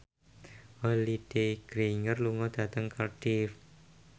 Holliday Grainger lunga dhateng Cardiff